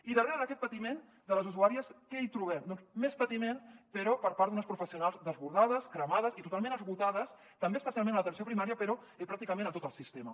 i darrere d’aquest patiment de les usuàries què hi trobem doncs més patiment però per part d’unes professionals desbordades cremades i totalment esgotades també especialment a l’atenció primària però pràcticament a tot el sistema